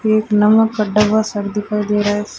एक नमक का डब्बा सब दिखाई दे रहा है।